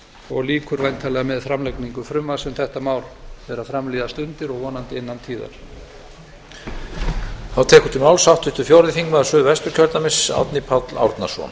og lýkur væntanlega með framlagningu frumvarps um þetta mál þegar fram líða stundir og vonandi innan tíðar